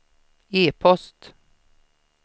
e-post